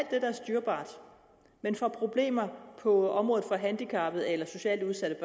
styrbart men får problemer på området for handicappede eller socialt udsatte